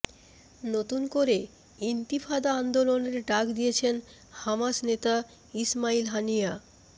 নতুন করে ইন্তিফাদা আন্দোলনের ডাক দিয়েছেন হামাস নেতা ইসমাইল হানিয়া